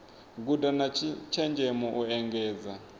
guda na tshenzhemo u engedza